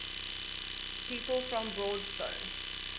people from broadstone